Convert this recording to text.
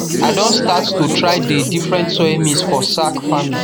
i don start to try dey different soil mix for sack farming